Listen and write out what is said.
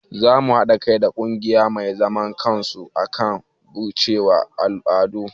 Zamu haɗa kai da ƙungiya mai zaman kansu akan batacciyar al'adu